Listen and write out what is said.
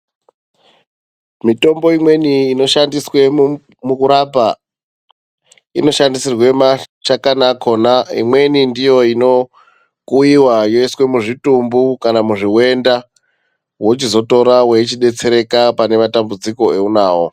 Mitombo imweni inoshandiswe mukurapa inoshandisirwa mashakani akhona, imweni ndiyo inokuiwa yoiswa muzvitumbu kana chiwenda wochizotora weichidetsereka pane matambudziko eunawo.